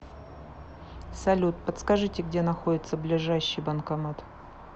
салют подскажите где находится ближайший банкомат